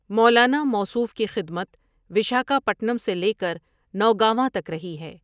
مولانا موصوف کی خدمت وشاکھاپٹنم سے لیکر نوگانواں تک رہی ہیں ۔